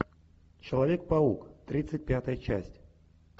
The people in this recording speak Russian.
человек паук тридцать пятая часть